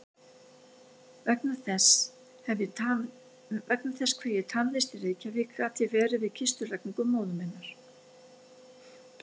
Vegna þess hve ég tafðist í Reykjavík gat ég verið við kistulagningu móður minnar.